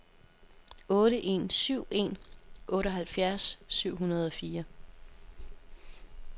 otte en syv en otteoghalvfjerds syv hundrede og fire